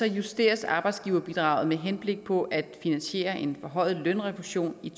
justeres arbejdsgiverbidraget med henblik på at finansiere en forhøjet lønrefusion i